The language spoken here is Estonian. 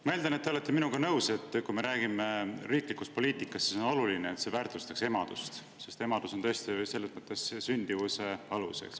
Ma eeldan, et te olete minuga nõus: kui me räägime riiklikust poliitikast, siis on oluline, et see väärtustaks emadust, sest emadus on tõesti selles mõttes sündimuse alus.